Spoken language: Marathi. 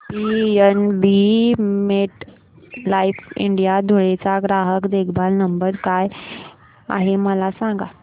पीएनबी मेटलाइफ इंडिया धुळे चा ग्राहक देखभाल नंबर काय आहे मला सांगा